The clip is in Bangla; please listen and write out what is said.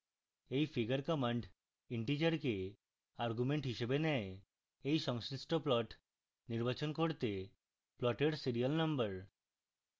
এই figure command integer argument হিসাবে নেয়